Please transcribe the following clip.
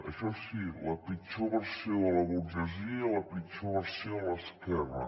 això sí la pitjor versió de la burgesia i la pitjor versió de l’esquerra